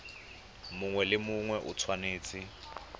mongwe le mongwe o tshwanetse